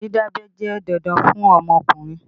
Dídábẹ́ jẹ́ dandan fún ọmọkùnrin